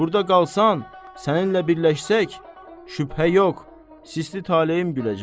Burda qalsan, səninlə birləşsək, şübhə yox, sisli taleyin güləcək.